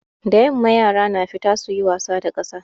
Da yamma yara na fita suyi wasa da ƙasa.